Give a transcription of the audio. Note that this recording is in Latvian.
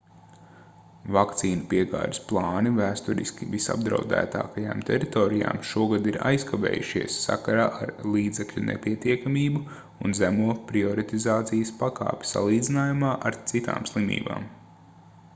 vakcīnu piegādes plāni vēsturiski visapdraudētākajām teritorijām šogad ir aizkavējušies sakarā ar līdzekļu nepietiekamību un zemo prioritizācijas pakāpi salīdzinājumā ar citām slimībām